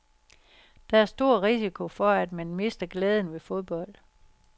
Der er stor risiko for, at man mister glæden ved fodbold.